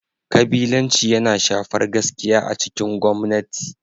Kabilanci yana shafar gaskiya a cikin gwamnati.